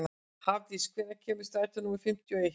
Hafdís, hvenær kemur strætó númer fimmtíu og eitt?